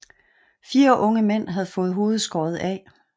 Fire unge mænd havde fået hovedet skåret af